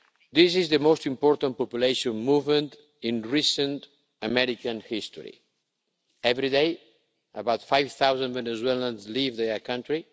This is the most important population movement in recent American history. Every day, about 5000 Venezuelans leave their country.